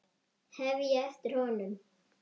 hef ég eftir honum.